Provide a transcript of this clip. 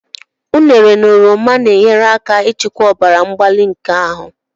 Ụnere na oroma na-enyere aka ịchịkwa ọbara mgbali nke ahụ.